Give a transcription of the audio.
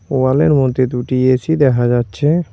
ওয়ালের মধ্যে দুটি এ_সি দেখা যাচ্ছে।